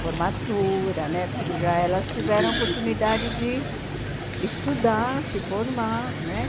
formatura né, porque já elas tiveram a oportunidade de estudar, se formar né.